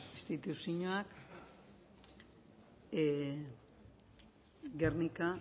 instituzioak guernica